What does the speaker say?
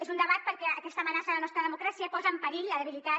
és un debat perquè aquesta amenaça a la nostra democràcia posa en perill la debilitat